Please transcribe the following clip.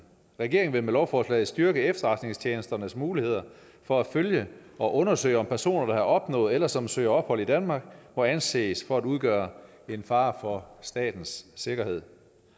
regeringen vil med lovforslaget styrke efterretningstjenesternes muligheder for at følge og undersøge om personer der har opnået eller som søger ophold i danmark må anses for at udgøre en fare for statens sikkerhed